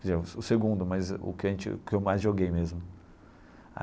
O segundo, mas o que a gente o que eu mais joguei mesmo.